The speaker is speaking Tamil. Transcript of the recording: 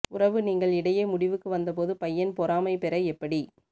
உறவு நீங்கள் இடையே முடிவுக்கு வந்தபோது பையன் பொறாமை பெற எப்படி